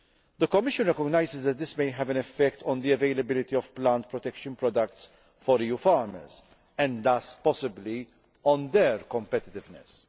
The Commission recognises that this may have an effect on the availability of plant protection products for EU farmers, and thus possibly on competitiveness.